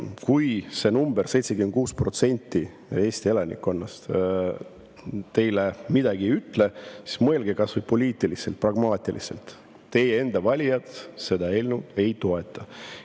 Kui see number, 76% Eesti elanikkonnast, teile midagi ei ütle, siis mõelge kas või poliitiliselt, pragmaatiliselt: teie enda valijad seda eelnõu ei toeta.